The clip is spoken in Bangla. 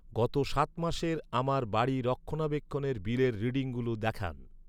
গত সাত মাসের আমার বাড়ি রক্ষণাবেক্ষণের বিলের রিডিংগুলি দেখান।